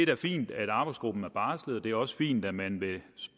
da fint at arbejdsgruppen er barslet og det er også fint at man vil